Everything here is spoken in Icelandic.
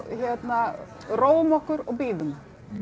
hérna róum okkur og bíðum